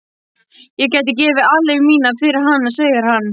Ég gæti gefið aleigu mína fyrir hana, segir hann.